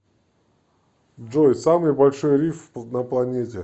джой самый большой риф на планете